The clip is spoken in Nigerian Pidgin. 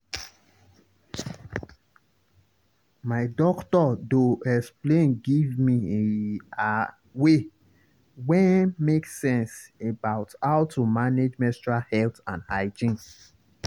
my doctor doh explain give me e a way wen make sense about how to manage menstrual health and hygiene.